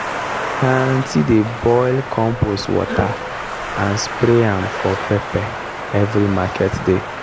my aunty dey boil compost water and spray am for pepper every market day.